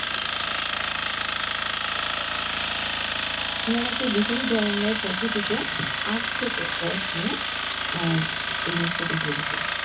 উনারা একটা বিশেষ ধরনের পদ্ধতিতে আখ থেকে রস নিয়ে আহ এই মিষ্টিটা তৈরি করে।